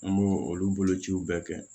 An b'o olu bolociw bɛɛ kɛ